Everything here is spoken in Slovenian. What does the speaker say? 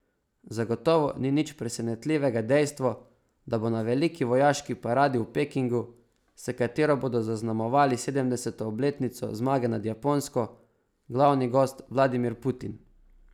Zagotovo ni nič presenetljivega dejstvo, da bo na veliki vojaški paradi v Pekingu, s katero bodo zaznamovali sedemdeseto obletnico zmage nad Japonsko, glavni gost Vladimir Putin.